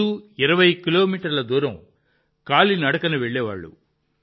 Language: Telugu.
రోజూ 20 కిలోమీటర్ల దూరం కాలినడకన వెళ్లేవారు